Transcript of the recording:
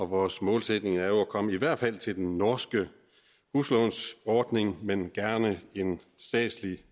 vores målsætning er jo at komme i hvert fald til den norske huslånsordning men gerne en statslig